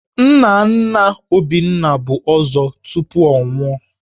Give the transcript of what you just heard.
Nna nna Obinna bụ Ọzọ tupu ọ nwụọ